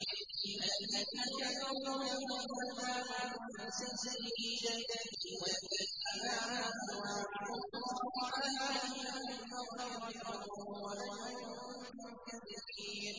الَّذِينَ كَفَرُوا لَهُمْ عَذَابٌ شَدِيدٌ ۖ وَالَّذِينَ آمَنُوا وَعَمِلُوا الصَّالِحَاتِ لَهُم مَّغْفِرَةٌ وَأَجْرٌ كَبِيرٌ